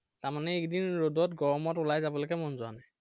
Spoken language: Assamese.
তাৰমানে এইকেইদিন ৰ'দত গৰমত উলাই যাবলৈকে মন যোৱা নাই।